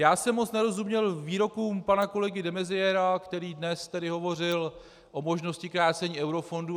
Já jsem moc nerozuměl výrokům pana kolegy de Maizièra, který dnes tady hovořil o možnosti krácení eurofondů.